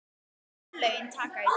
Örlögin taka í taumana